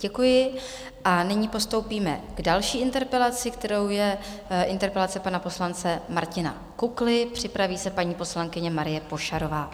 Děkuji a nyní postoupíme k další interpelaci, kterou je interpelace pana poslance Martina Kukly, připraví se paní poslankyně Marie Pošarová.